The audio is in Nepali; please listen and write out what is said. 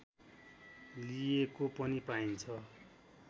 लिएको पनि पाइन्छ